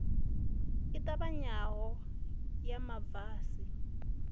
i ṱavhanyaho ya ma basi